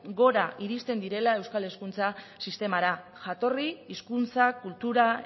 gora iristen direla euskal hezkuntza sistemara jatorri hizkuntza kultura